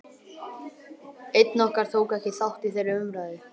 Einn okkar tók ekki þátt í þeirri umræðu.